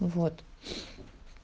вот